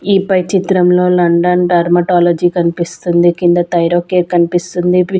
ఈపై చిత్రంలో London dermatology కన్పిస్తుంది కింద థైరోకేర్ కన్పిస్తుంది పి--